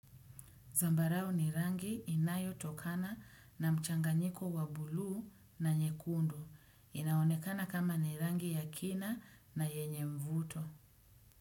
Zambarao ni rangi inayo tokana na mchanganyiko wa buluu na nyekundu. Inaonekana kama ni rangi ya kina na yenye mvuto.